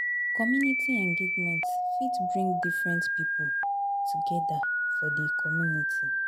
Community engagement fit bring different pipo together for di community